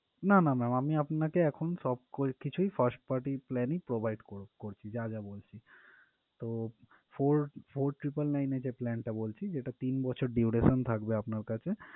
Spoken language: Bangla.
না না ma'am এখন আমি আপনাকে সবকিছুই first party plan ই provide কর করছি যা যা বলছি তো four four triple nine এর যে plan টা বলছি যেটা তিন বছর duration থাকবে আপনার কাছে।